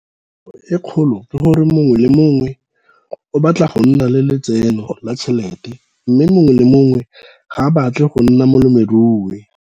Kgwetlho e kgolo ke gore mongwe le mongwe o batla go nna le lotseno la tšhelete, mme mongwe le mongwe ga a batle go nna molemirui.